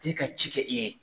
Te ka ci kɛ i ye.